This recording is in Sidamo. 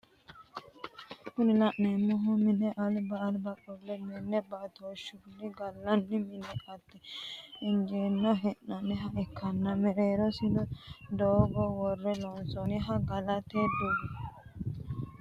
Kuni la'neemohu mine alba alba qolle minne baatooshunni galanno mannira aate injeesine he'nooniha ikkana mereerosi daago worre lonsooniho galate dibushanno.